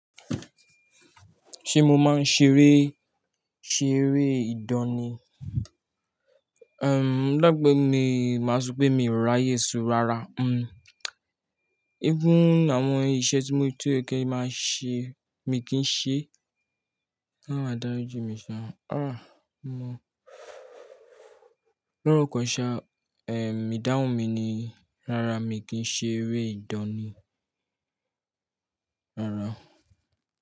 Ṣé mo máa ń ṣeré, ṣeré ìdánì? Ehn, lágbè máa sọ pé mi ò ráyè so rárá. Hmm, Even àwọn iṣẹ́ tí mo ti yẹ́ máa ṣe, mi kì ń ṣe. Ọlọrun adarí ji mi ṣa, "A, ọmọ lọ́rọkan ṣá, eh, ìdáhùn mi ni." Rárá, mi kì ń ṣe eré ìdánì. Rárá.